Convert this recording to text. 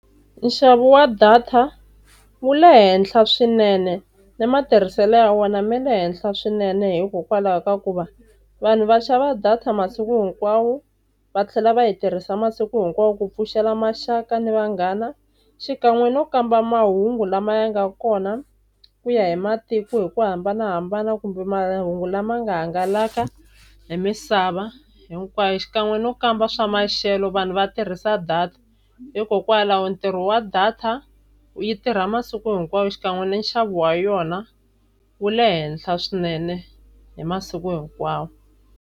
Nxavo wa data wu le henhla swinene ni matirhiselo ya wona ma le henhla swinene, hikokwalaho ka ku va vanhu va xava data masiku hinkwawo va tlhela va yi tirhisa masiku hinkwawo ku pfuxela maxaka na vanghana xikan'we no kamba mahungu lama ya nga kona, ku ya hi matiko hi ku hambanahambana kumbe mahungu lama nga hangalaka hi misava hinkwayo xikan'we no kamba swa maxelo vanhu va tirhisa data. Hikokwalaho ntirho wa data yi tirha masiku hinkwawo xikan'we na nxavo wa yona wu le henhla swinene hi masiku hinkwawo.